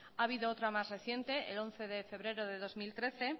ha habido otra más reciente el once de febrero de dos mil trece